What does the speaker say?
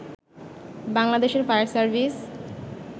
বাংলাদেশের fire service